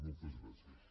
moltes gràcies